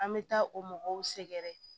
An bɛ taa o mɔgɔw sɛgɛrɛ